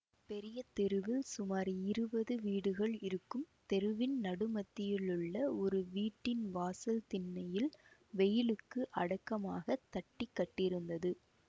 பெரிய தெருவில் சுமார் இருபது வீடுகள் இருக்கும் தெருவின் நடுமத்தியிலுள்ள ஒரு வீட்டின் வாசல் திண்ணையில் வெயிலுக்கு அடக்கமாகத் தட்டி கட்டியிருந்தது